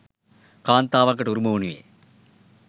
කාන්තාවකට උරුම වනුයේ